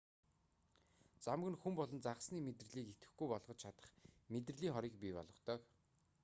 замаг нь хүн болон загасны мэдрэлийг идэвхгүй болгож чадах мэдрэлийн хорыг бий болгодог